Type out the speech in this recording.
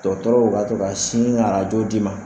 Dɔgɔtɔrɔw ka to ka sin ka arajo d'i ma.